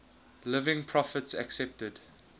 living prophets accepted